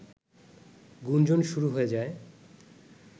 গুঞ্জন শুরু হয়ে যায়